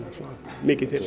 mikið til